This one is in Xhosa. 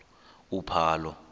uphalo